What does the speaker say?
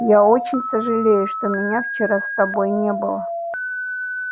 я очень сожалею что меня вчера с тобой не было